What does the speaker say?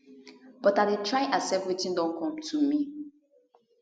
but l dey try accept wetin don come to me